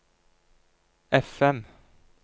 FM